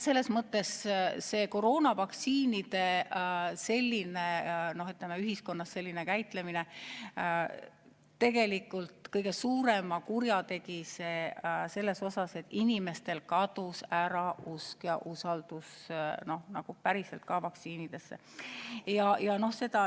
Selles mõttes tegi koroonavaktsiinide selline kasutamine tegelikult kõige suuremat kurja sellega, et inimestel kadus ära usk vaktsiinidesse, kadus ära usaldus.